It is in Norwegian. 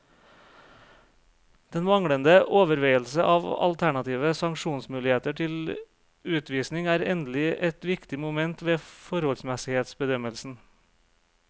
Den manglende overveielse av alternative sanksjonsmuligheter til utvisning er endelig et viktig moment ved forholdsmessighetsbedømmelsen.